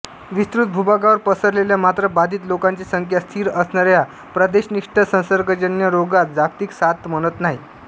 विस्तृत भूभागावर पसरलेल्या मात्र बाधित लोकांची संख्या स्थिर असणाऱ्या प्रदेशनिष्ठ संसर्गजन्यरोगास जागतिक साथ म्हणत नाहीत